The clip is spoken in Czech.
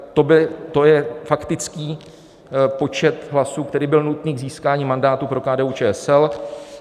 To je faktický počet hlasů, který byl nutný k získání mandátu pro KDU-ČSL.